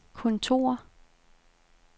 kontor